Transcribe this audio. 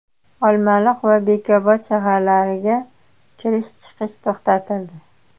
Olmaliq va Bekobod shaharlariga kirish-chiqish to‘xtatildi.